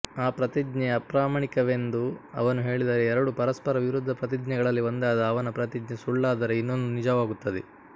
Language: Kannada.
ಆ ಪ್ರತಿಜ್ಞೆ ಅಪ್ರಾಮಾಣಿಕವೆಂದು ಅವನು ಹೇಳಿದರೆ ಎರಡು ಪರಸ್ಪರ ವಿರುದ್ಧ ಪ್ರತಿಜ್ಞೆಗಳಲ್ಲಿ ಒಂದಾದ ಅವನ ಪ್ರತಿಜ್ಞೆ ಸುಳ್ಳಾದರೆ ಇನ್ನೊಂದು ನಿಜವಾಗುತ್ತದೆ